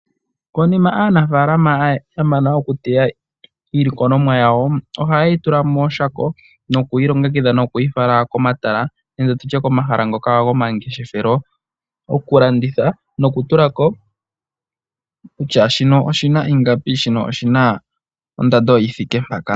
Konima aanafaalama ya mana okuteya iilikolomwa yawo, ohaye yi tula mooshako nokuyi longekidha nokuyi fala komatala nenge tutye komahala ngoka gomangeshefelo, okulanditha nokutula ko kutya shino oshina ingapi, shino oshina ondando yi thike mpaka.